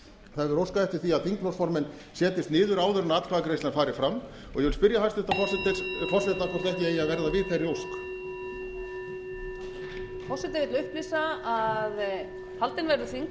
það hefur verið óskað eftir því að þingflokksformenn setjist niður áður en atkvæðagreiðslan fari fram og ég vil spyrja hæstvirtan forseta hvort ekki eigi að verða við þeirri ósk